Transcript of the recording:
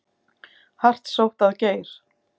Hart sótt að Geir